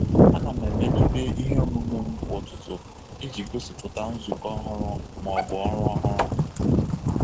A na m emelite ihe omume m kwa ụtụtụ iji gosipụta nzukọ ọhụrụ ma ọ bụ ọrụ ọhụrụ.